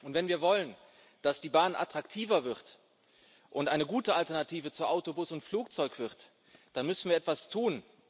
Wenn wir wollen, dass die Bahn attraktiver wird und eine gute Alternative zu Auto, Bus und Flugzeug wird, dann müssen wir etwas tun.